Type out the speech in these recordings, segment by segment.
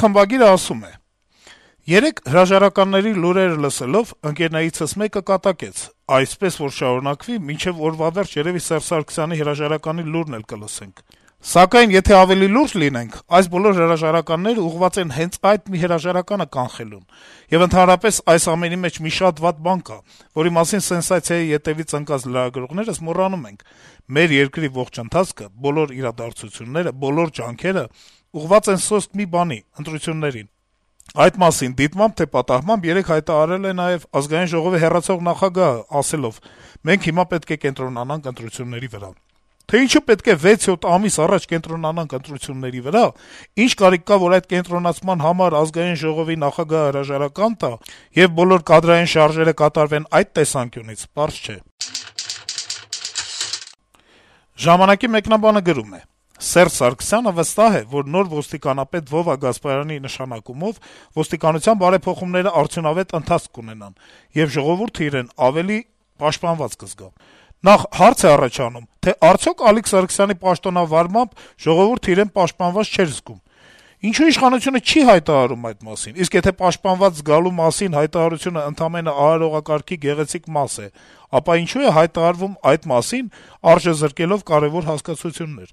խմբագիրը գրում է. - «Երեկ հրաժարականների լուրերը լսելով` ընկերներիցս մեկը կատակեց. «Այսպես որ շարունակվի, մինչեւ օրվա վերջը երեւի Սերժ Սարգսյանի հրաժարականի մասին լուրն էլ կլսենք»: Սակայն եթե ավելի լուրջ լինենք` այս բոլոր հրաժարականներն ուղղված են հենց այդ մի հրաժարականը կանխելուն: Եվ ընդհանրապես, այս ամենի մեջ մի շատ վատ բան կա, որի մասին «սենսացիայի» հետեւից ընկած լրագրողներս մոռանում ենք. մեր երկրի ողջ ընթացքը, բոլոր իրադարձությունները, բոլոր ջանքերը ուղղված են սոսկ մի բանի` ընտրություններին: Այդ մասին, դիտմամբ թե պատահմամբ, երեկ հայտարարել է նաեւ Ազգային ժողովի հեռացող նախագահը` ասելով. մենք հիմա պետք է կենտրոնանանք ընտրությունների վրա: Թե ինչու պետք է վեց-յոթ ամիս առաջ կենտրոնանանք ընտրությունների վրա, ինչ կարիք կա, որ այդ կենտրոնացման համար Ազգային ժողովի նախագահը հրաժարական տա, եւ բոլոր կադրային շարժերը կատարվեն այդ տեսանկյունից, պարզ չէ»: «Ժամանակ»-ի մեկնաբանը գրում է. - «Սերժ Սարգսյանը վստահ է, որ նոր ոստիկանապետ Վովա Գասպարյանի նշանակումով ոստիկանության բարեփոխումները արդյունավետ ընթացք կունենան, եւ ժողովուրդը իրեն ավելի պաշտպանված կզգա: Նախ` հարց է առաջանում, թե արդյո՞ք Ալիկ Սարգսյանի պաշտոնավարմամբ ժողովուրդն իրեն պաշտպանված չէր զգում: Ինչո՞ւ իշխանությունը չի հայտարարում այդ մասին: Իսկ եթե պաշտպանված զգալու մասին հայտարարությունն ընդամենն արարողակարգի գեղեցիկ մաս է, ապա ինչո՞ւ է հայտարարվում այդ մասին` արժեզրկելով կարեւոր հասկացություններ: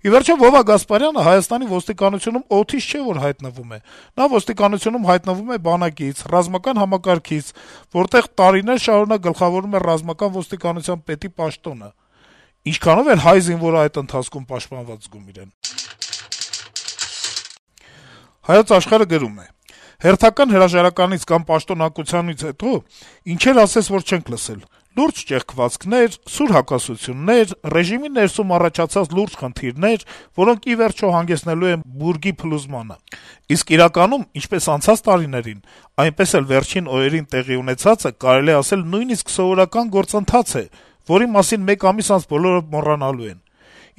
Ի վերջո, Վովա Գասպարյանը Հայաստանի ոստիկանությունում օդից չէ, որ հայտնվում է: Նա ոստիկանությունում հայտնվում է բանակից, ռազմական համակարգից, որտեղ տարիներ շարունակ գլխավորում էր ռազմական ոստիկանության պետի պաշտոնը: Ինչքանո՞վ էր հայ զինվորը այդ ընթացքում պաշտպանված զգում իրեն»: «Հայոց Աշխարհ»-ը գրում է. - «Հերթական հրաժարականից կամ պաշտոնանկությունից հետո ինչեր ասես, որ չենք լսել՝ «լուրջ ճեղքվածքներ», «սուր հակասություններ», «ռեժիմի ներսում առաջացած լուրջ խնդիրներ», որոնք ի վերջո «հանգեցնելու են բուրգի փլուզմանը»: Իսկ իրականում, ինչպես անցած տարիներին, այնպես էլ վերջին օրերին տեղի ունեցածը, կարելի է ասել, նույնիսկ սովորական գործընթաց է, որի մասին մեկ ամիս անց բոլորը մոռանալու են: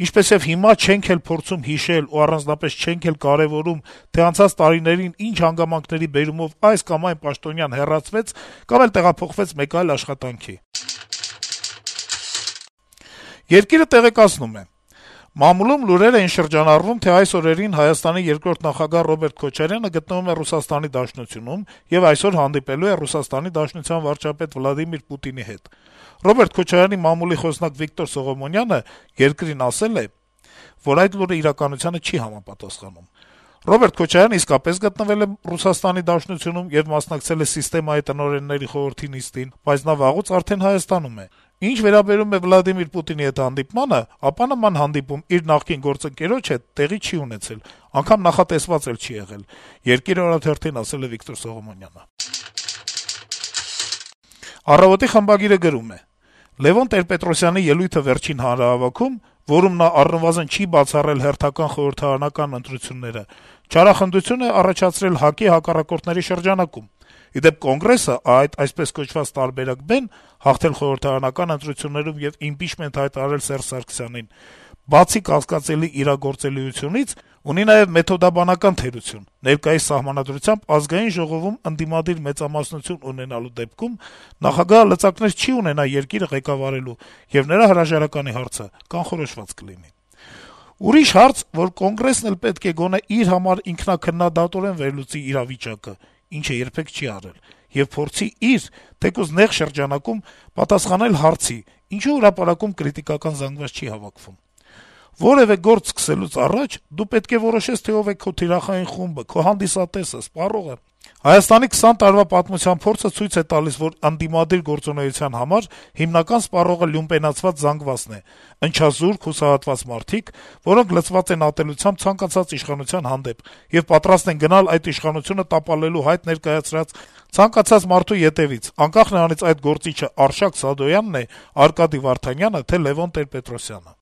Ինչպեսեւ հիմա չենք էլ փորձում հիշել ու առանձնապես չենք էլ կարեւորում, թե անցած տարիներին ինչ հանգամանքների բերումով այս կամ այն պաշտոնյան հեռացվեց կամ էլ տեղափոխվեց մեկ այլ աշխատանքի»: «Երկիր»-ը տեղեկացնում է. - «Մամուլում լուրեր էին շրջանառվում, թե այս օրերին ՀՀ երկրորդ նախագահ Ռոբերտ Քոչարյանը գտնվում է Ռուսաստանի Դաշնությունում եւ այսօր հանդիպելու է ՌԴ վարչապետ Վլադիմիր Պուտինի հետ: Ռոբերտ Քոչարյանի մամուլի խոսնակ Վիկտոր Սողոմոնյանը «Երկիր»-ին ասաց, որ այդ լուրը իրականությանը չի համապատասխանում: «Ռոբերտ Քոչարյանը իսկապես գտնվել է Ռուսաստանի Դաշնությունում եւ մասնակցել է «ՍԻՍՏԵՄԱ»-ի տնօրենների խորհրդի նիստին, բայց նա վաղուց արդեն Հայաստանում է: Ինչ վերաբերում է Վլադիմիր Պուտինի հետ հանդիպմանը, ապա նման հանդիպում իր նախկին գործընկերոջ հետ տեղի չի ունեցել, անգամ նախատեսված էլ չի եղել», - ասաց Սողոմոնյանը»: «Առավոտ»-ի խմբագիրը գրում է. - «Լեւոն Տեր-Պետրոսյանի վերջին ելույթը հանրահավաքում, որում նա առնվազն չի բացառել հերթական խորհրդարանական ընտրությունները, չարախնդություն է առաջացրել ՀԱԿ-ի հակառակորդների շրջանակում: Ի դեպ, Կոնգրեսի այդ, այսպես ասած, «տարբերակ B»-ն` հաղթել խորհրդարանական ընտրություններում եւ ինփիչմենթ հայտարարել Սերժ Սարգսյանին, բացի կասկածելի իրագործելիությունից, ունի նաեւ մեթոդաբանական թերություն` ներկայիս Սահմանադրությամբ` ԱԺ-ում ընդդիմադիր մեծամասնություն ունենալու դեպքում նախագահը լծակներ չի ունենա երկիրը ղեկավարելու, եւ նրա հրաժարականի հարցը կանխորոշված կլինի… Ուրիշ հարց, որ Կոնգրեսն էլ պետք է գոնե իր համար ինքնաքննադատորեն վերլուծի իրավիճակը եւ փորձի իր` թեկուզ նեղ շրջանակում պատասխանել հարցի` ինչո՞ւ հրապարակում կրիտիկական զանգված չի հավաքում: Որեւէ գործ սկսելուց առաջ դու պետք է որոշես, թե ով է քո «թիրախային խումբը», քո հանդիսատեսը, սպառողը: Հայաստանի 20 տարվա պատմության փորձը ցույց է տալիս, որ ընդդիմադիր գործունեության հիմնական սպառողը լյումպենացված զանգվածն է` ընչազուրկ, հուսահատված մարդիկ, որոնց լցված են ատելությամբ ցանկացած իշխանության հանդեպ եւ պատրաստ են գնալ այդ իշխանությունը տապալելու հայտ ներկայացրած ցանկացած մարդու ետեւից, անկախ նրանից` այդ գործիչը Արշակ Սադոյանն է, Արկադի Վարդանյանը, թե Լեւոն Տեր-Պետրոսյանը»: